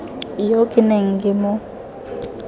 yo ke neng ke mo